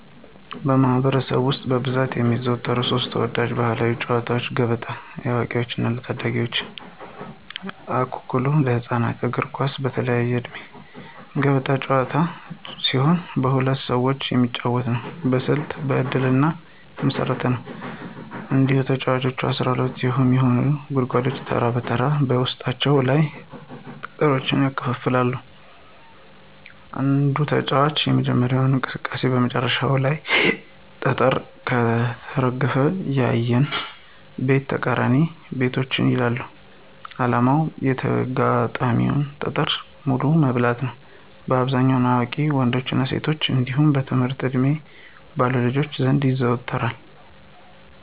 በማኅበረሰብ ውስጥ በብዛት የሚዘወተሩ ሦስት ተወዳጅ ባሕላዊ ጨዋታዎች፦ ገበጣ (ለአዋቂዎችና ለታዳጊዎች) ፣አኩኩሉ (ለህፃናት)፣ እግር ኳስ (በተለያየ ዕድሜ)። ገበጣ ጥንታዊ ጨዋታ ሲሆን በሁለት ሰዎች የሚጫወት ነው። በስልትና በእድል ላይ የተመሰረተ ነው። እያንዳንዱ ተጫዋች 12 የሆኑትን ጉድጓዶች ተራ በተራ በውስጣቸው ያሉትን ጠጠሮች ያከፋፍላል። አንድ ተጫዋች የጀመረው እንቅስቃሴ በመጨረሻው ቤት ላይ ጠጠር ከተረፈ፣ ያንን ቤትና ተቃራኒ ቤቶችን ይበላል። ዓላማው የተጋጣሚን ጠጠር በሙሉ መብላት ነው። በአብዛኛው በአዋቂ ወንዶችና ሴቶች እንዲሁም በትምህርት ዕድሜ ባሉ ልጆች ዘንድ ተወዳጅ ነው።